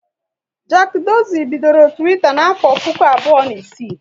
Jack Dorsey bidoro Twitter n'afọ puku abụọ na isii